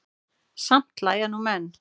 Samt hlæja nú menn.